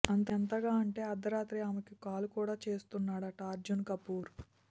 ఎంతగా అంటే అర్ధరాత్రి ఆమెకి కాల్ కూడా చేస్తున్నాడు అట అర్జున్ కపూర్